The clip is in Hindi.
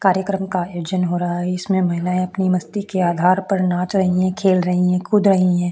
कार्यक्रम का आयोजन हो रहा है जिसमे महिलाये अपनी मस्ती के आधार पर नाच रही है खेल रही है कूद रही है।